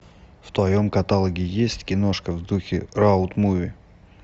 в твоем каталоге есть киношка в духе роуд муви